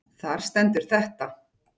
Þar stendur þetta